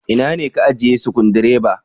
Ina ne ka ajiye Sukudireba?